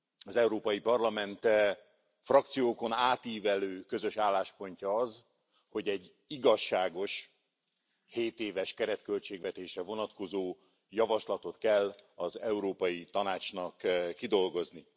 Az Európai Parlament frakciókon átívelő közös álláspontja az, hogy egy igazságos hétéves keretköltségvetésre vonatkozó javaslatot kell az Európai Tanácsnak kidolgozni.